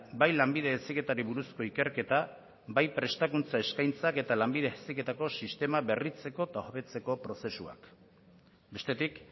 bai lanbide heziketari buruzko ikerketa bai prestakuntza eskaintzak eta lanbide heziketako sistema berritzeko eta hobetzeko prozesuak bestetik